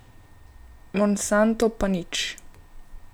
Monsanto pa nič ...